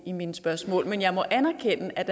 i mine spørgsmål men jeg må anerkende at